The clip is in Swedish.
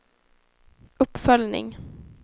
uppföljning